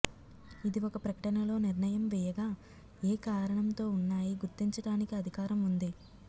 ఇది ఒక ప్రకటనలో నిర్ణయం వేయగా ఏ కారణంతో ఉన్నాయి గుర్తించటానికి అధికారం ఉంది